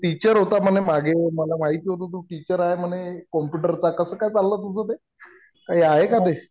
तू teacher होता म्हणे मागे. मला माहिती होतं. तू टीचर आहे म्हणे कम्प्युटरचा. कसं काय चाललंय तुझं ते? काही आहे का ते?